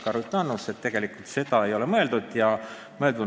Ka Ruth Annus vastas, et tegelikult ei ole siin seda mõeldud.